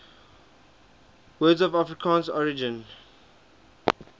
words of afrikaans origin